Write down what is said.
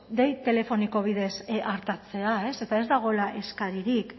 dei telefoniko bidez artatzea eta ez dagoela eskaririk